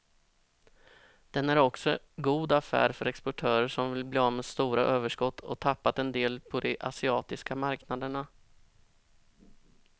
Den är också god affär för exportörer som vill bli av med stora överskott och tappat en del på de asiatiska marknaderna.